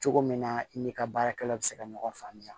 Cogo min na i n'i ka baarakɛlaw bɛ se ka ɲɔgɔn faamuya